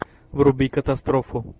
вруби катастрофу